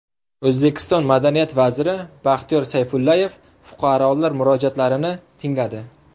O‘zbekiston madaniyat vaziri Baxtiyor Sayfullayev fuqarolar murojaatlarini tingladi .